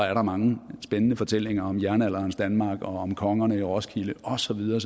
er der mange spændende fortællinger om jernalderens danmark og om kongerne i roskilde og så videre